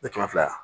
Mɛ kɛmɛ fila